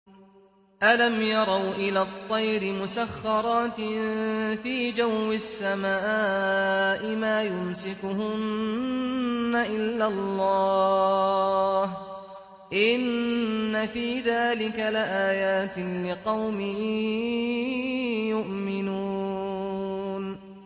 أَلَمْ يَرَوْا إِلَى الطَّيْرِ مُسَخَّرَاتٍ فِي جَوِّ السَّمَاءِ مَا يُمْسِكُهُنَّ إِلَّا اللَّهُ ۗ إِنَّ فِي ذَٰلِكَ لَآيَاتٍ لِّقَوْمٍ يُؤْمِنُونَ